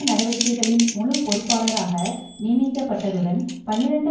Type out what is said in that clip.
நடவடிக்கைகளின் முழுப்பொறுப்பாளாராக நியமிக்கப்பட்டதுடன் பனிரண்டு